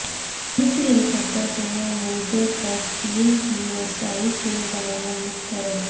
امریکی helicopter کے ملبے تک چین کی رسائی کے دعوے مسترد